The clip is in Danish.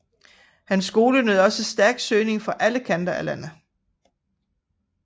Hans skole nød også stærk søgning fra alle kanter af landet